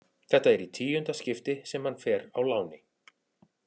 Þetta er í tíunda skipti sem hann fer á láni.